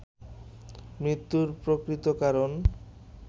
মৃত্যুর প্রকৃত কারণ